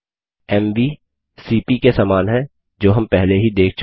MV CP के समान है जो हम पहले ही देख चुके हैं